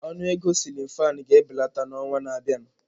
Ọnụ ego siilin fan ga-ebelata n'ọnwa na-abịa.